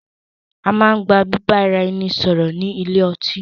A máa ń gba bíbá ara ẹni sọ̀rọ̀ ni ilé ọtí.